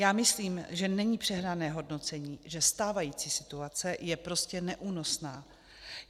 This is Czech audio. Já myslím, že není přehnané hodnocení, že stávající situace je prostě neúnosná.